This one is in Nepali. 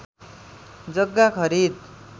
जग्गा खरिद